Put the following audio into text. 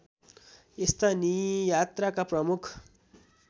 यस्ता नियात्राका प्रमुख